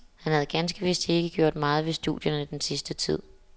Han havde ganske vist ikke gjort meget ved studierne den sidste tid.